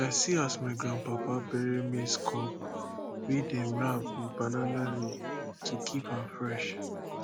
i see as my grandpapa bury maize cob wey dem wrap with banana leaf to keep am fresh